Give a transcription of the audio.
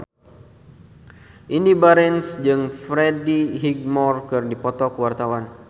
Indy Barens jeung Freddie Highmore keur dipoto ku wartawan